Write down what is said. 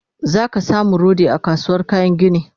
zaka samu rodi a kasuwar kayan gini